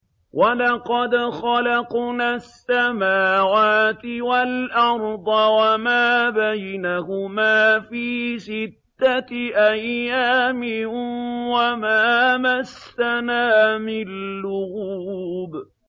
وَلَقَدْ خَلَقْنَا السَّمَاوَاتِ وَالْأَرْضَ وَمَا بَيْنَهُمَا فِي سِتَّةِ أَيَّامٍ وَمَا مَسَّنَا مِن لُّغُوبٍ